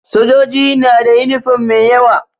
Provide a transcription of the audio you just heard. Sojoji nada yunifom mai yawa